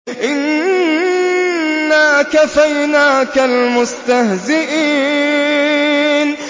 إِنَّا كَفَيْنَاكَ الْمُسْتَهْزِئِينَ